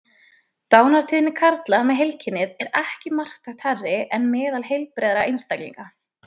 Dánartíðni karla með heilkennið er ekki marktækt hærri en meðal heilbrigðra einstaklinga.